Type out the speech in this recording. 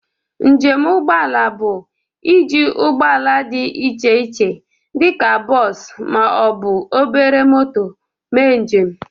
Njem ụgbọ ala bụ ị ji ụgbọ ala dị iche iche dịka bọs ma ọ bụ obere moto mee njem.